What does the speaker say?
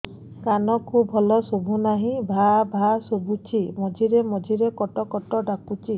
କାନକୁ ଭଲ ଶୁଭୁ ନାହିଁ ଭାଆ ଭାଆ ଶୁଭୁଚି ମଝିରେ ମଝିରେ କଟ କଟ ଡାକୁଚି